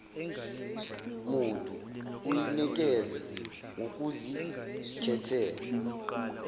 muntu uyinikeze ngokuzikhethela